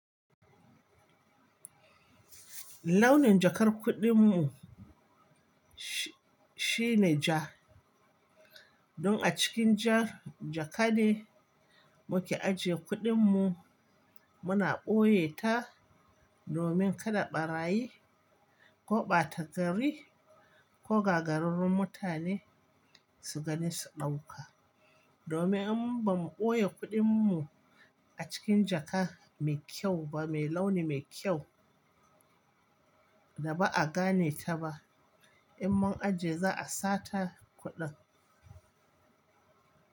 Launin jakar kuɗin mu shine ja. Don a cikin ja, jaka ne muke ajiye kuɗin mu. Muna ɓoye ta domin kada ɓarayi ko ɓata gari ko gagararrun mutane su gani su ɗauka. Domin in ba mu ɓoye kuɗin mu a cikin jaka mai kyau ba, mai launi mai kyau da ba a gane ta ba, in mun ajiye za a sata kuɗin.